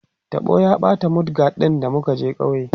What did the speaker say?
taɓo ya ɓata mud guard ɗin da muka je kauye